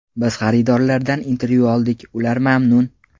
Biz xaridorlardan intervyu oldik, ular mamnun.